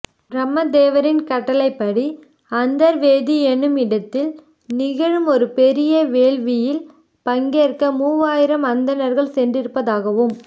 பிரம்ம தேவரின் கட்டளைப்படி அந்தர் வேதி என்னும் இடத்தில் நிகழும் ஒரு பெரிய வேள்வியில் பங்கேற்க மூவாயிரம் அந்தணர்கள் சென்றிருப்பதாகவும்